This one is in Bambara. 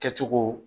Kɛcogo